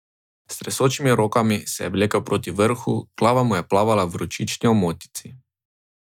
S tresočimi rokami se je vlekel proti vrhu, glava mu je plavala v vročični omotici.